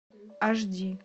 аш ди